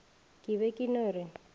ke be ke no re